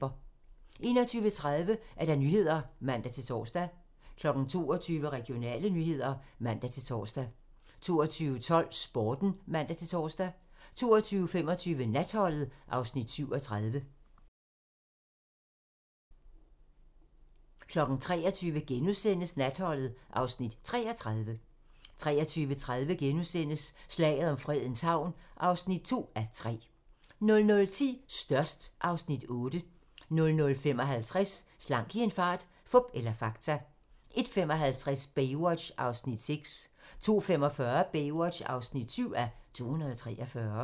21:30: Nyhederne (man-tor) 22:00: Regionale nyheder (man-tor) 22:12: Sporten (man-tor) 22:25: Natholdet (Afs. 37) 23:00: Natholdet (Afs. 33)* 23:30: Slaget om Fredens Havn (2:3)* 00:10: Størst (Afs. 8) 00:55: Slank i en fart - fup eller fakta? 01:55: Baywatch (6:243) 02:45: Baywatch (7:243)